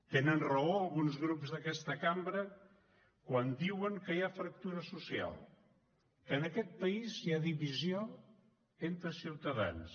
tenen raó alguns grups d’aquesta cambra quan diuen que hi ha fractura social que en aquest país hi ha divisió entre ciutadans